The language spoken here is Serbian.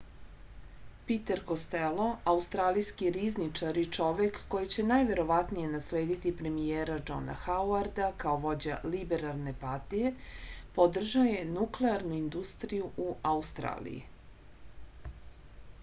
piter kostelo australijski rizničar i čovek koji će najverovatnije naslediti premijera džona hauarda kao vođa liberalne partije podržao je nuklearnu industriju u australiji